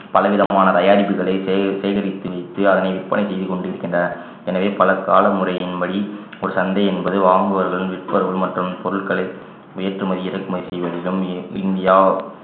பல விதமான தயாரிப்புகளை சேக~ சேகரித்து வைத்து அதனை விற்பனை செய்து கொண்டிருக்கின்றார் எனவே பலர் காலமுறையின் படி ஒரு சந்தை என்பது வாங்குபவர்கள் விற்பவர்கள் மற்றும் பொருட்களை ஏற்றுமதி இறக்குமதி செய்வதிலும் இந்~ இந்தியா